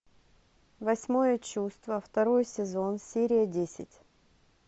восьмое чувство второй сезон серия десять